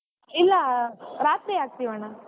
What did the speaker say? ಇಲ್ಲಾ ರಾತ್ರಿ ಹಾಕ್ತಿವಣ್ಣಾ.